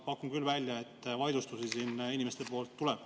Ma pakun välja, et vaidlustusi siin inimestelt tuleb.